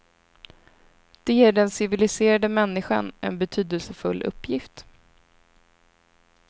Det ger den civiliserade människan en betydelsefull uppgift.